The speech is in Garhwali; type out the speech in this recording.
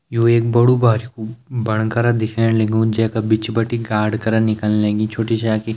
यो एक बडू भारी कु बंकर दिख्येण लगयूं जेका बिच भटी गार्ड करण निकलं लगीं छोटी छा कि --